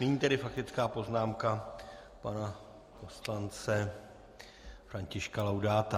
Nyní tedy faktická poznámka pana poslance Františka Laudáta.